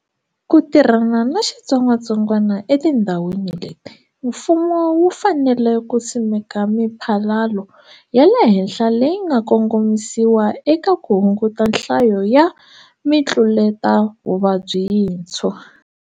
Ku tirhana na xitsongwatsongwana etindhawini leti, mfumo wu fanele ku simeka miphalalo ya le henhla leyi nga kongomisiwa eka ku hunguta nhlayo ya mitluletavuvabyi yintshwa.